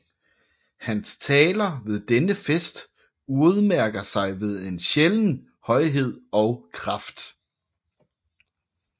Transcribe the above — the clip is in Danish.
Hans taler ved denne fest udmærker sig ved en sjælden højhed og kraft